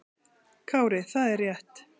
Kári: Það er rétt.